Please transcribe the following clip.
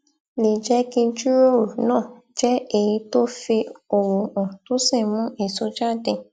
lè jé kí ìjíròrò náà jé èyí tó ń fi òwò hàn tó sì ń mú èso jáde